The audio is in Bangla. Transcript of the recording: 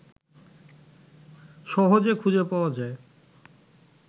সহজে খুঁজে পাওয়া যায়